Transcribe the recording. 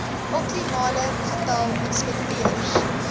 optimale getal inspekteurs